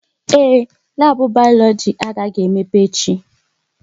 Ee, labu Bayoloji agaghị emepe echi